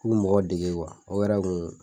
n bi mɔgɔ dege o yɛrɛ kun